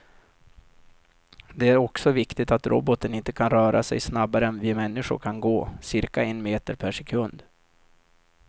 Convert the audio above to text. Det är också viktigt att roboten inte kan röra sig snabbare än vi människor kan gå, cirka en meter per sekund.